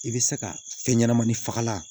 I bɛ se ka fɛn ɲɛnɛmani fagalan